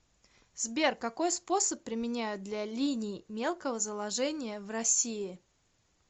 сбер какой способ применяют для линий мелкого заложения в россии